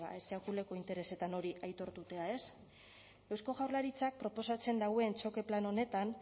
bueno sekulako interesetan hori aitortuta ez eusko jaurlaritzak proposatzen duen txoke plan honetan